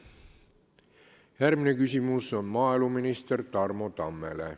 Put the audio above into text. Järgmine küsimus on maaeluminister Tarmo Tammele.